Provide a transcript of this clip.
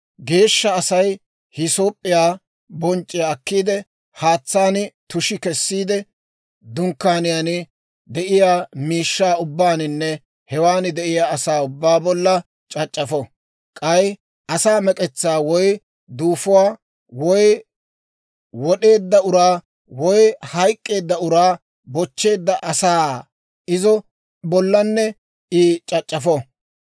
geeshsha Asay hiisoop'p'iyaa bonc'c'iyaa akkiide, haatsaan tushi kessiide, dunkkaaniyaa, dunkkaaniyaan de'iyaa miishshaa ubbaaninne hewan de'iyaa asaa ubbaa bollan c'ac'c'afo. K'ay asaa mek'etsaa, woy duufuwaa, woy wod'eedda uraa, woy hayk'k'eedda uraa bochcheedda asaa bolla I c'ac'c'afo.